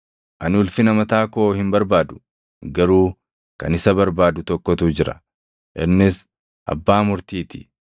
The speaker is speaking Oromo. Ani ulfina mataa koo hin barbaadu; garuu kan isa barbaadu tokkotu jira; innis Abbaa murtii ti.